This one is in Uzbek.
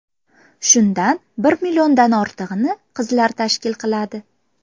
Shundan bir milliondan ortig‘ini qizlar tashkil qiladi.